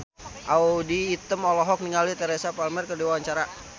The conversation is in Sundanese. Audy Item olohok ningali Teresa Palmer keur diwawancara